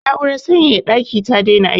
Na'urar sanyaya ɗaki ta daina aiki.